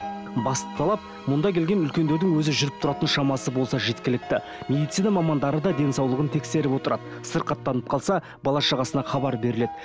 басты талап мұнда келген үлкендердің өзі жүріп тұратын шамасы болса жеткілікті медицина мамандары да денсаулығын тексеріп отырады сырқаттанып қалса бала шағасына хабар беріледі